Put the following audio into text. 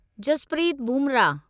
Jasprit Bumrah